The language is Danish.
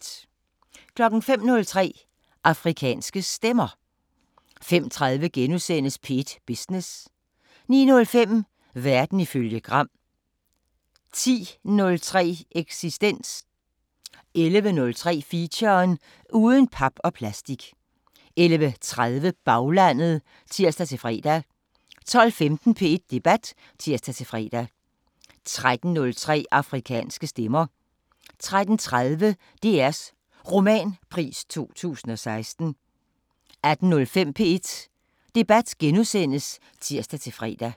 05:03: Afrikanske Stemmer 05:30: P1 Business * 09:05: Verden ifølge Gram 10:03: Eksistens 11:03: Feature: Uden pap og plastik 11:30: Baglandet (tir-fre) 12:15: P1 Debat (tir-fre) 13:03: Afrikanske Stemmer 13:30: DRs Romanpris 2016 18:05: P1 Debat *(tir-fre)